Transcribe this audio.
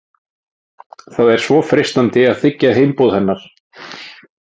Það er svo freistandi að þiggja heimboð hennar.